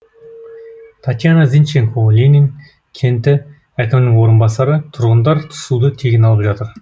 татьяна зинченко ленин кенті әкімінің орынбасары тұрғындар суды тегін алып жатыр